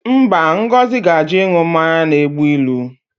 Mba, Ngozi ga-ajụ ịṅụ mmanya na-egbu ilu